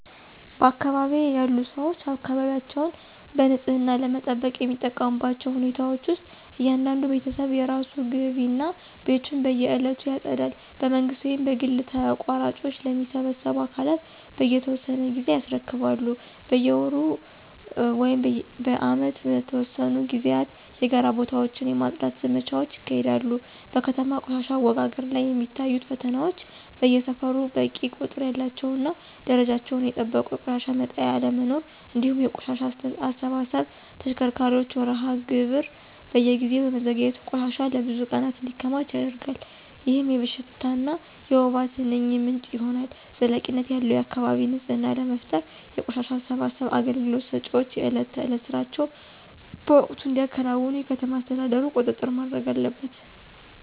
በአካባቢዬ ያሉ ሰዎች አካባቢያቸውን በንጽህና ለመጠበቅ የሚጠቀሙባቸው ሁኔታዎች ውስጥ እያንዳንዱ ቤተሰብ የራሱን ግቢ እና ቤቱን በየዕለቱ ያጸዳል። በመንግሥት ወይም በግል ተቋራጮች ለሚሰበስቡ አካላት በየተወሰነ ጊዜ ያስረክባሉ። በየወሩ ወይም በዓመት በተወሰኑ ጊዜያት የጋራ ቦታዎችን የማፅዳት ዘመቻዎች ይካሄዳሉ። በከተማ ቆሻሻ አወጋገድ ላይ የሚታዩት ፈተናዎች በየሰፈሩ በቂ ቁጥር ያላቸውና ደረጃቸውን የጠበቁ የቆሻሻ መጣያ አለመኖር፤ እንዲሁም የቆሻሻ አሰባሰብ ተሽከርካሪዎች መርሃ ግብር በየጊዜው በመዘግየቱ ቆሻሻ ለብዙ ቀናት እንዲከማች ያደርጋል፣ ይህም የሽታና የወባ ትንኝ ምንጭ ይሆናል። ዘላቂነት ያለው የአካባቢ ንፅህና ለመፍጠር የቆሻሻ አሰባሰብ አገልግሎት ሰጪዎች የዕለት ተዕለት ሥራቸውን በወቅቱ እንዲያከናውኑ የከተማ አስተዳደሩ ቁጥጥር ማድረግ አለበት።